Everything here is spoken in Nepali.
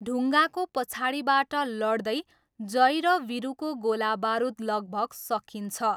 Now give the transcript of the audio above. ढुङ्गाको पछाडिबाट लड्दै, जय र वीरुको गोला बारुद लगभग सकिन्छ।